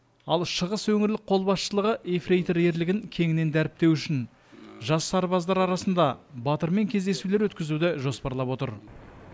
ал шығыс өңірлік қолбасшылығы ефрейтор ерлігін кеңінен дәріптеу үшін жас сарбаздар арасында батырмен кездесулер өткізуді жоспарлап отыр